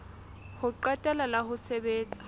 ho qetela la ho sebetsa